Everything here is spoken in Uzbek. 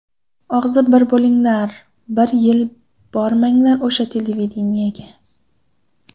Og‘zi bir bo‘linglar, bir yil bormanglar o‘sha televideniyega.